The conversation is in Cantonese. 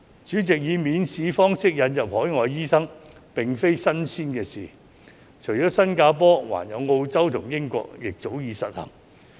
主席，以免試方式引入海外醫生並非新鮮事，除了新加坡，澳洲和英國亦早已實行。